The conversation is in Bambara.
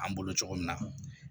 An bolo cogo min na